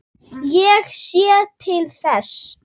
Ég sé til þess.